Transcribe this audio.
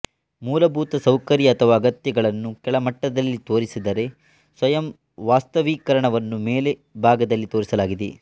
ಮೂಲಭುತ ಸೌಕರ್ಯ ಅಥವಾ ಅಗತ್ಯಗಳನ್ನು ಕೆಳ ಮಟ್ಟದಲ್ಲಿ ತೋರಿಸಿದರೆ ಸ್ವಯಂವಾಸ್ತವೀಕರಣವನ್ನು ಮೇಲೆ ಭಾಗದಲ್ಲಿ ತೋರಿಸಲಾಗಿದೆ